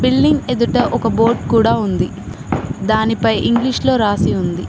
Building ఎదుట ఒక board కూడా ఉంది దానిపై ఇంగ్లీష్ లో రాసి ఉంది.